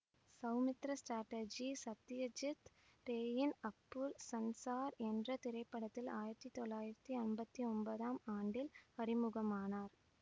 சௌமித்திர சாட்டர்ஜி சத்தியஜித் ரேயின் அப்பூர் சன்சார் என்றத் திரைப்படத்தில் ஆயிரத்தி தொள்ளாயிரத்தி அம்பத்தி ஒன்தாம் ஆண்டில் அறிமுகமானார்